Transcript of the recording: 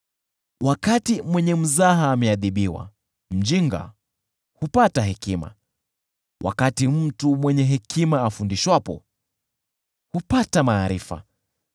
Wakati mwenye mzaha ameadhibiwa, mjinga hupata hekima; wakati mtu mwenye hekima afundishwapo, hupata maarifa.